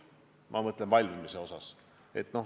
Ma pean silmas ehituse valmimist.